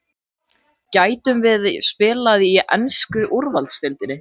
Gætum við spila í ensku úrvalsdeildinni?